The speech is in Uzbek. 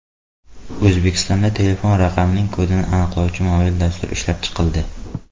O‘zbekistonda telefon raqamining kodini aniqlovchi mobil dastur ishlab chiqildi.